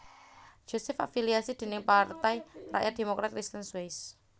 Josef afiliasi dèning Partai Rakyat Demokrat Kristen Swiss